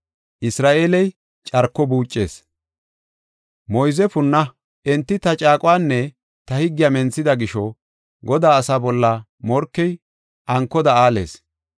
“Moyze punna! Enti ta caaquwanne ta higgiya menthida gisho, Godaa asaa bolla morkey ankoda aales.